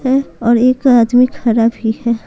है और एक आदमी खड़ा भी है।